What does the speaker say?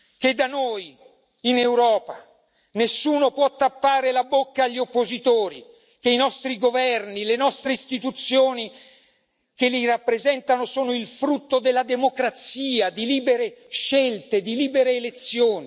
che in Europa nessuno può tappare la bocca agli oppositori, che i nostri governi e le nostre istituzioni che li rappresentano sono il frutto della democrazia di libere scelte, di libere elezioni